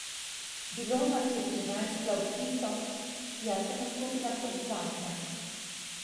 Bilo nas je trinajst flavtistov, jaz sem nastopila kot zadnja.